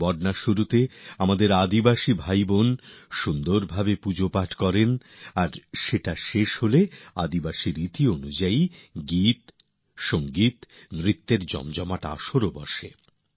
বর্নার শুরুতে আদিবাসী ভাইবোনেরা রীতিমত পূজার্চনা করে থাকেন এবং এই পর্বের সমাপ্তিতেও আদিবাসী সমাজের গানবাজনানৃত্যের মধ্য দিয়ে জমজমাট অনুষ্ঠান হয়ে থাকে